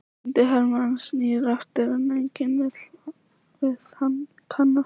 Týndi hermaðurinn snýr aftur, en enginn vill við hann kannast.